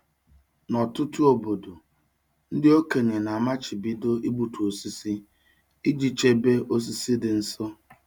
N'ọtụtụ obodo, ndị okenye na-amachibido igbutu osisi iji chebe osisi dị nsọ.